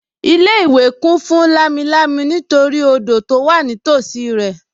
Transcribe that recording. Ilé-ìwé kún fún lámilámi nítorí odò tó wà nítòsí rẹ̀